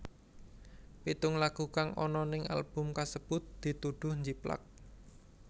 Pitung lagu kang ana ning album kasebut dituduh njiplak